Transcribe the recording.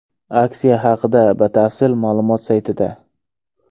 Aksiya haqidagi batafsil ma’lumot saytida.